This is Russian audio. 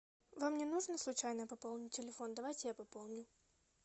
вам не нужно случайно пополнить телефон давайте я пополню